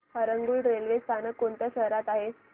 Harangul railway स्थानक कोणत्या शहरात आहे